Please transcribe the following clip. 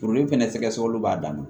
Furudimi fana sɛgɛsɛgɛliw b'a dan ma